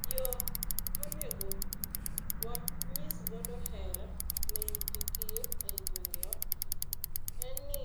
Yo monego wanyis godo hera ne nyithi kiye e gwenge wa, en ni